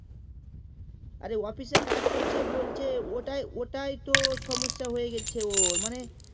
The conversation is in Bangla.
আরে office এ কাজ করছে বলছে ওটাই তো সমস্যা হয়ে গেল্ছে ওর মানে